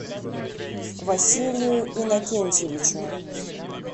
василию иннокентьевичу